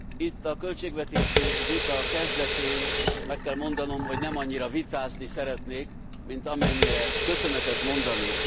Itt, a költségvetési vita kezdetén meg kell mondanom, hogy nem annyira vitázni szeretnék, mint amennyire köszönetet mondani.